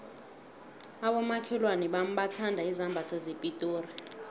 abomakhelwana bami bathanda izambatho zepitori